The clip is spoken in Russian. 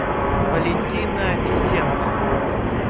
валентина тисенко